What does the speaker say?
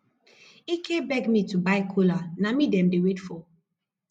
ike beg me to go buy kola na me dem dey wait for